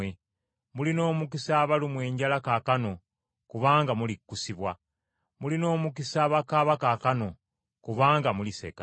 Mulina omukisa abalumwa enjala kaakano, kubanga mulikkusibwa. Mulina omukisa abakaaba kaakano, kubanga muliseka.